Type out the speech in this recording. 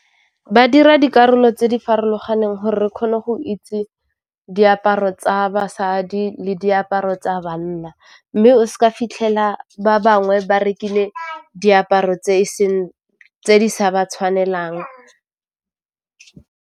Ba dira dikarolo tse di farologaneng gore re kgone go itse diaparo tsa basadi le diaparo tsa banna mme o s'ka fitlhela ba bangwe ba rekile diaparo tse di sa ba tshwanelang.